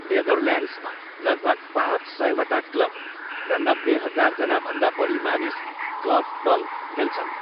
नेदरल्यान्ड्समा लगभग पाँच सयवटा क्लब र नब्बे हजारजना भन्दा बढी मानिस कर्फबल खेल्छन्।